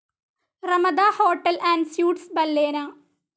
Ramada hotel and suites ബല്ലേന